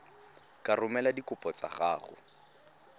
ka romela dikopo tsa gago